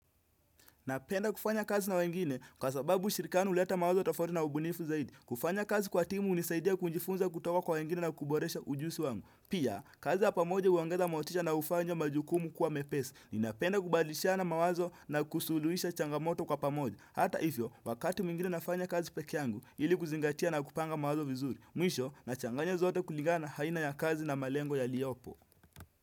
Napenda kufanya kazi na wengine kwa sababu ushirikano uleta mawazo tofauti na ubunifu zaidi. Kufanya kazi kwa timu unisaidia kujifunza kutoka kwa wengine na kuboresha ujusi wangu. Pia, kazi ya pamoje huongeza motisha na ufanya majukumu kuwa mepesi. Ninapenda kubadilishana mawazo na kusuluhisha changamoto kwa pamoja. Hata ifyo, wakati mwingine nafanya kazi peke yangu, ili kuzingatia na kupanga mawazo vizuri. Mwisho, nachanganya zote kuligana na haina ya kazi na malengo ya liopo.